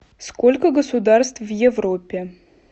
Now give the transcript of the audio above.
сколько государств в европе